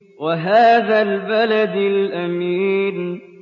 وَهَٰذَا الْبَلَدِ الْأَمِينِ